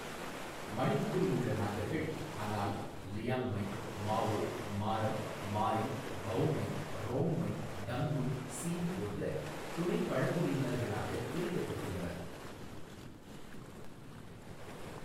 மணிப்பூரில் உள்ள நாகர்கள் அனால், லியாங்மை, மாவோ, மாரம், மாரிங், பௌமை, ரோங்மை, டங்குல், ஸீம் போன்ற துணை பழங்குடியினர்களாக பிரிக்கப்பட்டுள்ளனர்.